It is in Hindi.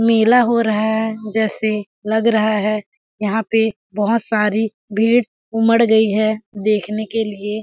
मेला हो रहा है जैसे लग रहा है यहाँ पे बहोत सारी भीड़ उमड़ गई है देखने के लिए--